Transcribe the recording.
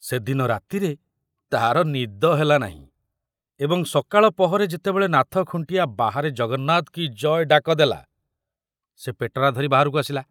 ସେ ଦିନ ରାତିରେ ତାର ନିଦ ହେଲା ନାହିଁ ଏବଂ ସକାଳ ପହରେ ଯେତେବେଳେ ନାଥ ଖୁଣ୍ଟିଆ ବାହାରେ ଜଗନ୍ନାଥ କୀ ଜୟ ଡାକ ଦେଲା, ସେ ପେଟରା ଧରି ବାହାରକୁ ଆସିଲା।